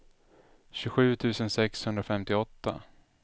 tjugosju tusen sexhundrafemtioåtta